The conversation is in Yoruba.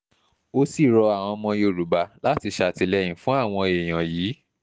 ó sì rọ àwọn ọmọ yorùbá láti ṣàtìlẹ́yìn fún àwọn èèyàn yìí